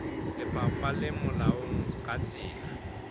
lefapha le molaong ka tsela